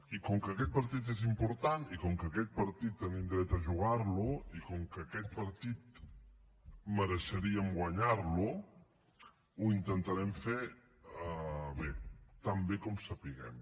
i com que aquest partit és important i com que aquest partit tenim dret a jugar lo i com que aquest partit mereixeríem guanyar lo ho intentarem fer bé tan bé com sapiguem